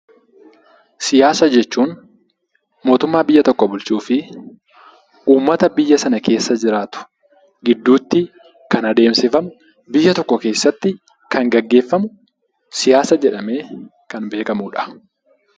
Siyaasa jechuun mootummaa biyya tokko bulchuu fi uummata biyya sana keessa jiraatu gidduutti kan adeemsifamu, biyya tokko keessatti kan gaggeeffamu siyaasa jedhamee kan beekamudha.